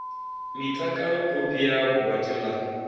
mitalo kopi ya gwati la